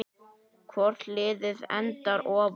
Hvort liðið endar ofar?